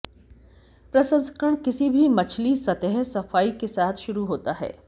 प्रसंस्करण किसी भी मछली सतह सफाई के साथ शुरू होता है